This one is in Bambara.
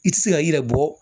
I ti se ka i yɛrɛ bɔ